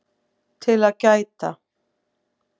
TIL AÐ GÆTA